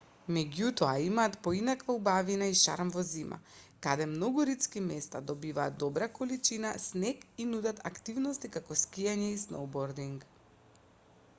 меѓутоа имаат поинаква убавина и шарм во зима каде многу ридски места добиваат добра количина снег и нудат активности како скијање и сноубординг